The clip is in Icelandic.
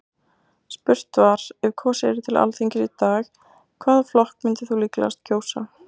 Spurt var, ef kosið yrði til Alþingis í dag, hvaða flokk myndir þú líklegast kjósa?